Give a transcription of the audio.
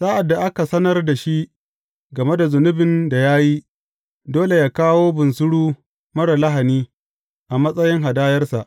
Sa’ad da aka sanar da shi game da zunubin da ya yi, dole yă kawo bunsuru marar lahani a matsayin hadayarsa.